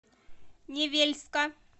невельска